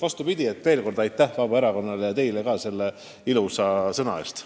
Vastupidi: veel kord aitäh Vabaerakonnale!